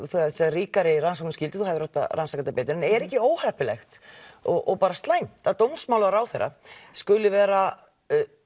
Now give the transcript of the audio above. ríkari rannsóknarskyldu að þú hefðir átt að rannsaka þetta betur en er ekki óheppilegt og bara slæmt að dómsmálaráðherra skuli vera